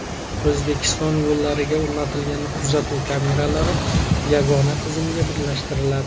O‘zbekiston yo‘llariga o‘rnatilgan kuzatuv kameralari yagona tizimga birlashtiriladi.